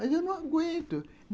Mas eu não aguento.